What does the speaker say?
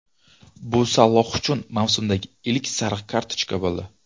Bu Saloh uchun mavsumdagi ilk sariq kartochka bo‘ldi.